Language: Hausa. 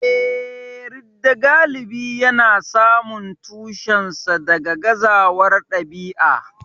Eh, ridda galibi yana samun tushensa daga gazawar ɗabi'a.